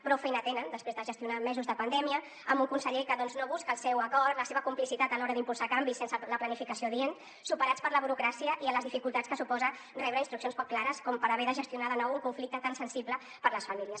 prou feina tenen després de gestionar mesos de pandèmia amb un conseller que no busca el seu acord la seva complicitat a l’hora d’impulsar canvis sense la planificació adient superats per la burocràcia i les dificultats que suposa rebre instruccions poc clares com per haver de gestionar de nou un conflicte tan sensible per a les famílies